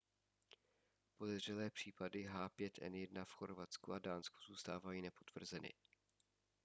podezřelé případy h5n1 v chorvatsku a dánsku zůstávají nepotvrzeny